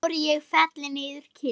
Tár ég felli niður kinn.